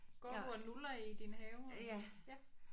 Går du og nulrer i din have og?